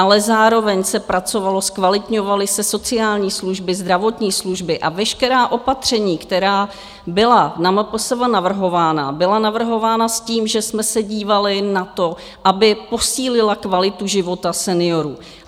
Ale zároveň se pracovalo, zkvalitňovaly se sociální služby, zdravotní služby a veškerá opatření, která byla na MPSV navrhována, byla navrhována s tím, že jsme se dívali na to, aby posílila kvalitu života seniorů.